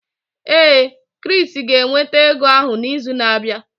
Ee, Chris ga-eweta ego ahụ n'izu na-abịa.